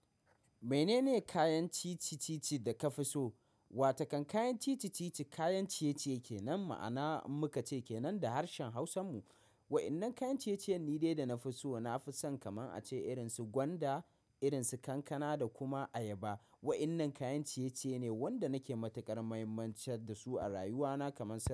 Menene kayan ci-ci ci-ci da ka fi so? Watakan kayan ci-ci ci-ci, kayan ciye-ciye kenan ma'ana muka ce kenan da harshen Hausan mu. Wa'innan kayan ciye-ciyen nide da na fi so, na fi son kaman ace irin su gwanda, irin su kankana da kuma ayaba. Wa'innan kayan ciye-ciye ne wanda nake matukar muhimmancar da su a rayuwa na kaman sau.